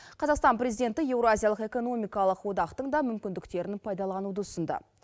қазақстан президенті еуразиялық экономикалық одақтың да мүмкіндіктерін пайдалануды ұсынды